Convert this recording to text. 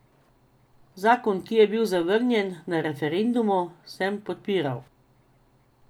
Zakon, ki je bil zavrnjen na referendumu, sem podpiral.